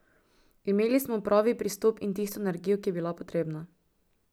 Imeli smo pravi pristop in tisto energijo, ki je bila potrebna.